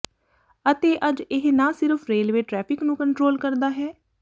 ਅਤੇ ਅੱਜ ਇਹ ਨਾ ਸਿਰਫ ਰੇਲਵੇ ਟ੍ਰੈਫਿਕ ਨੂੰ ਕੰਟਰੋਲ ਕਰਦਾ ਹੈ